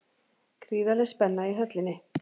Gríðarleg spenna í Höllinni